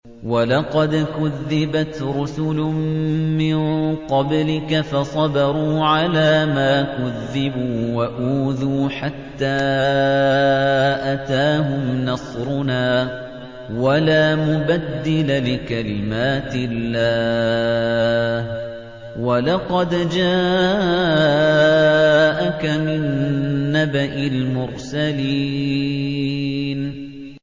وَلَقَدْ كُذِّبَتْ رُسُلٌ مِّن قَبْلِكَ فَصَبَرُوا عَلَىٰ مَا كُذِّبُوا وَأُوذُوا حَتَّىٰ أَتَاهُمْ نَصْرُنَا ۚ وَلَا مُبَدِّلَ لِكَلِمَاتِ اللَّهِ ۚ وَلَقَدْ جَاءَكَ مِن نَّبَإِ الْمُرْسَلِينَ